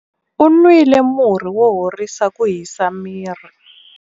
U nwile murhi wo horisa ku hisa miri.